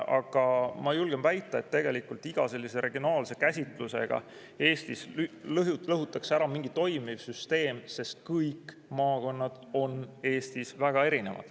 Aga ma julgen väita, et iga sellise regionaalse käsitlusega lõhutakse ära mingi toimiv süsteem, sest kõik maakonnad on Eestis väga erinevad.